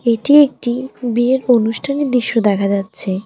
এটি একটি বিয়ের অনুষ্ঠানের দৃশ্য দেখা যাচ্ছে।